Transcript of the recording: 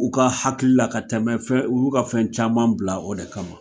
U ka hakili la ka tɛmɛ fɛn u y'u ka fɛn caman bila o de kama.